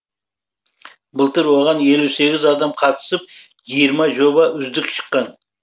былтыр оған елу сегіз адам қатысып жиырма жоба үздік шыққан